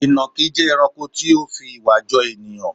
Ìnàkí jẹ́ ẹranko tó fi ìwà jọ ènìyàn.